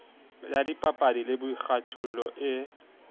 ya dipapadi le boikgathollo e